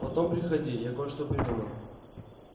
потом приходи я кое-что придумал